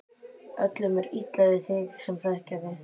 Öllum er illa við þig sem þekkja þig!